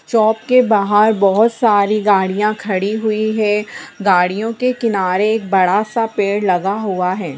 चौक के बाहर बहुत सारी गाड़ियाँ खड़ी हुई हैं | गाड़ियों के किनारे एक बड़ा-सा पेड़ लगा हुआ है।